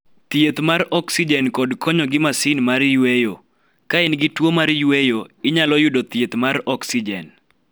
Thieth mar oksijen kod konyo gi masin mar yweyo Ka in gi tuo mar yweyo, inyalo yudo thieth mar oksijen.